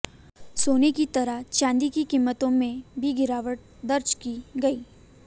सोने की तरह चांदी की कीमतों में भी गिरावट दर्ज की गई